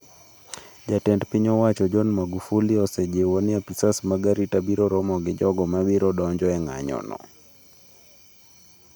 Jatend piny owacho John Magufuli osejiwo ni apisas mag arita biro romo gi jogo mabiro donjo e ng'anjo no.